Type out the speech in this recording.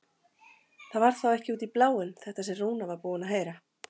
Það var þá ekki út í bláinn þetta sem Rúna var búin að heyra!